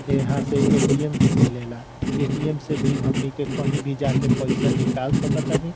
यहां से ए.टी.एम. भी मिले ला ए.टी.एम. से भी हमनी के कहि भी जाके पईसा निकाल सक तनि।